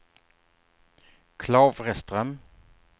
Klavreström